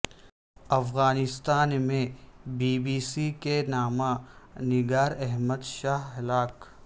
افغانستان میں B B C کے نامہ نگار احمد شاہ ہلاک